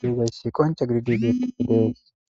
deedayssi qonca gididegeeti dees.